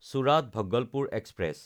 চোৰাত–ভাগলপুৰ express